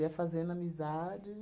Ia fazendo amizade.